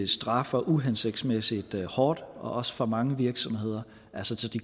straffer uhensigtsmæssigt hårdt og også for mange virksomheder altså så de